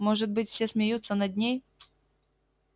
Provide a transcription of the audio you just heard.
может быть все смеются над ней